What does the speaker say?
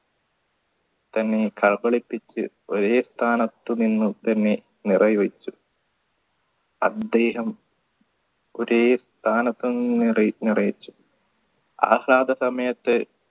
തന്നെ കബളിപ്പിച്ച് ഒരേ സ്ഥാനത്തു നിന്നും തന്നെ നിറയ്ച്ചു അദ്ദേഹം ഒരേ സ്ഥാനത്ത് സമയത്ത്